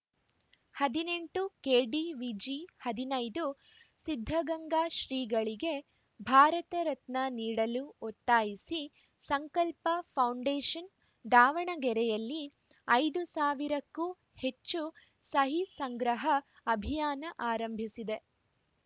ಹದಿನೆಂಟು ಕೆಡಿವಿಜಿ ಹದಿನೈದು ಸಿದ್ಧಗಂಗಾ ಶ್ರೀಗಳಿಗೆ ಭಾರತ ರತ್ನ ನೀಡಲು ಒತ್ತಾಯಿಸಿ ಸಂಕಲ್ಪ ಫೌಂಡೇಷನ್‌ ದಾವಣಗೆರೆಯಲ್ಲಿ ಐದು ಸಾವಿರಕ್ಕೂ ಹೆಚ್ಚು ಸಹಿ ಸಂಗ್ರಹ ಅಭಿಯಾನ ಆರಂಭಿಸಿದೆ